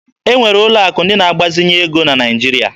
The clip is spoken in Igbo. E nwere ụlọ akụ ndị na agbazinye ego na Naịjirịa.